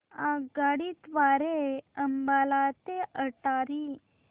आगगाडी द्वारे अंबाला ते अटारी